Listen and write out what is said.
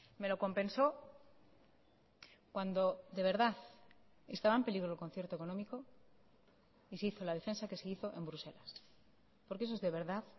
me lo compensó cuando de verdad estaba en peligro el concierto económico y se hizo la defensa que se hizo en bruselas porque eso es de verdad